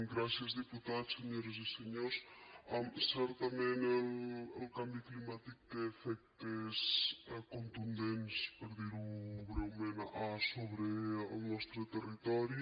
gràcies diputats senyores i senyors certament el canvi climàtic té efectes contundents per dir ho breument sobre el nostre territori